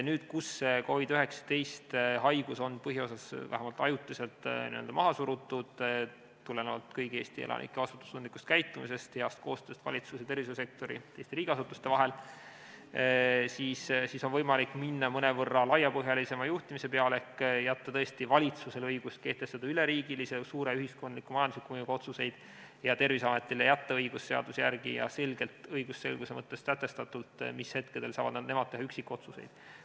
Nüüd, kui COVID-19 haigus on põhiosas vähemalt ajutiselt maha surutud, tulenevalt kõigi Eesti elanike vastutustundlikust käitumisest, heast koostööst valitsuse ja tervishoiusektori ja teiste riigiasutuste vahel, on võimalik minna mõnevõrra laiapõhjalisema juhtimise peale ehk jätta valitsusele õigus teha üleriigilisi, suure ühiskondliku ja majandusliku mõjuga otsuseid ja Terviseametile jätta seaduse järgi õigus teha üksikotsuseid, õigusselguse mõttes selgelt sätestatult, mis hetkel nad seda teha saavad.